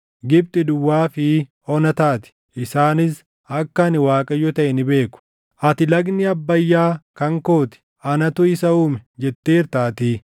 Gibxi duwwaa fi ona taati; isaanis akka ani Waaqayyo taʼe ni beeku. “ ‘Ati, “Lagni Abbayyaa kan koo ti; anatu isa uume” jetteertaatii;